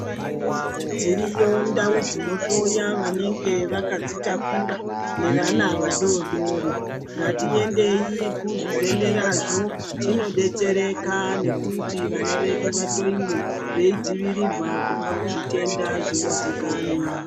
Dziriyo ndau dzinohloya vanenge vakadzitaura nevana vadoodori ngatiendei kuzvibhedhlerazvo tinodetsereka nekuti vana vedu vahloiwe veidzivirirwa kubva kuzvitenda zvinozikanwa.